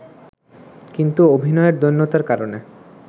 কিন্তু অভিনয়ের দৈন্যতার কারণে